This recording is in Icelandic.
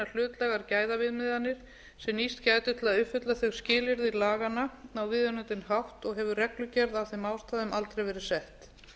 gæðaviðmiðanir sem nýst gætu til að uppfylla þau skilyrði laganna á viðunandi hátt og hefur reglugerð af þeim ástæðum aldrei verið sett